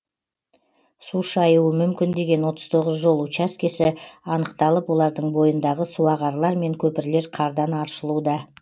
су шаюы мүмкін деген отыз тоғыз жол учаскесі анықталып олардың бойындағы суағарлар мен көпірлер қардан аршылуда